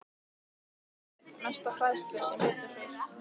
Hún grét og grét, mest af hræðslu, sem betur fer.